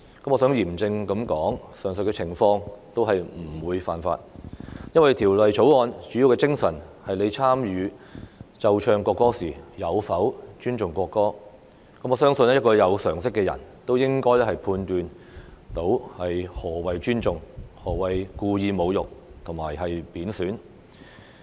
我想嚴正地指出，上述的情況均不屬犯法，因為《條例草案》的主要精神是參與奏唱國歌時有否尊重國歌，我相信有常識的人也能判斷何謂尊重、何謂故意侮辱和貶損。